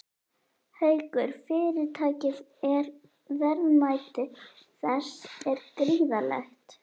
Haukur: Fyrirtækið er, verðmæti þess er gríðarlegt?